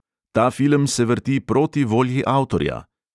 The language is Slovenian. Ta film se vrti proti volji avtorja!"